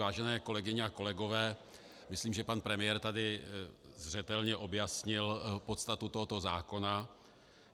Vážené kolegyně a kolegové, myslím, že pan premiér tady zřetelně objasnil podstatu tohoto zákona.